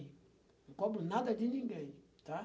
Não cobro nada de ninguém, tá?